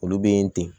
Olu bɛ ten